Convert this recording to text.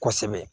Kosɛbɛ